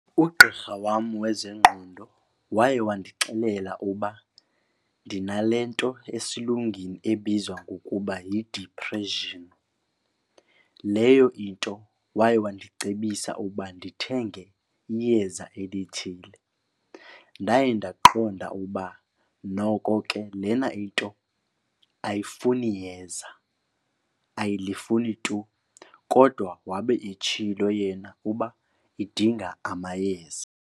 Ugqirha wam wezengqondo waye wandixelela uba ndinale nto esiLungwini ebizwa ngokuba yidiphreshini. Leyo into waye wandicebisa uba ndithenge iyeza elithile. Ndaye ndaqonda ukuba noko ke lena into ayifuni yeza, ayilifuni tu. Kodwa wabe etshilo yena uba idinga amayeza.